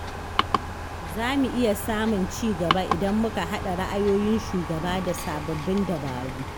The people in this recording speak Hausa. Zamu iya samun cigaba idan muka haɗa ra'ayoyin shugaba da sababbin dabaru.